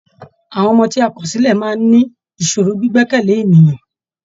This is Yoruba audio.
Àwọn ọmọ ti a kọ̀ sílẹ̀ máa ní ìṣòro gbígbẹ̀kẹ̀ lé ènìyàn.